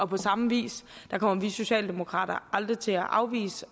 på samme vis kommer vi socialdemokrater aldrig til at afvise